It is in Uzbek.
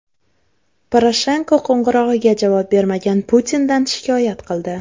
Poroshenko qo‘ng‘irog‘iga javob bermagan Putindan shikoyat qildi.